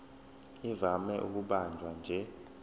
ivame ukubanjwa nje